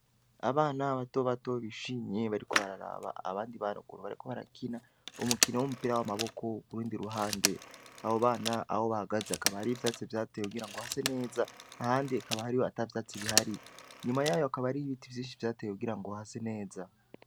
Abana bato batobishimye bariko bararaba abandi barokuru bariko barakina umukino w'umupira w'amaboko buru ndi ruhande abo bana abo bahagaze akaba hario ivyatse vyatewe kugira ngo hase neza ahandi akaba hariho ata vyatse bihari nyuma yayo akaba ariyo ibiti vyinshi vyatewe kugira ngo hase neza.